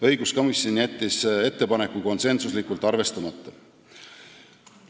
Õiguskomisjon jättis ettepaneku konsensuslikult arvestamata.